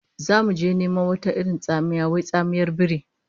Zamu je neman wata irin tsamiya wai ita tsamiyar biri